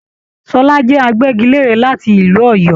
Ṣọlá jẹ àgbẹgilère láti ìlú Òyọ́.